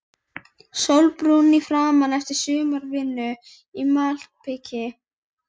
Sólbrúnn í framan eftir sumarvinnu í malbiki.